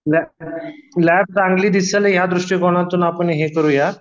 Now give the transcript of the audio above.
lab चांगली दिसेल या दुष्टीकोनातून आपण हे करूया